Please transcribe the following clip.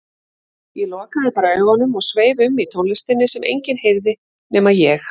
Ég lokaði bara augunum og sveif um í tónlistinni sem enginn heyrði nema ég.